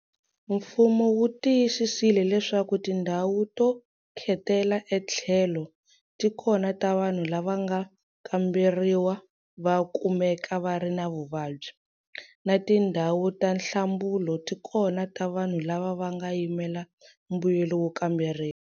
Mfumo wu tiyisisile leswaku tindhawu to khetela etlhelo ti kona ta vanhu lava va nga kamberiwa va kumeka va ri na vuvabyi, na tindhawu ta nhlambulo tikona ta vanhu lava va nga yimela mbuyelo wo kamberiwa.